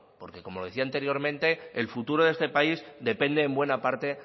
porque como decía anteriormente el futuro de este país depende en buena parte